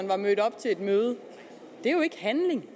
var mødt op til et møde det er jo ikke handling